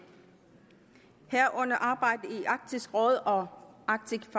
herunder arbejdet i arktisk råd og arctic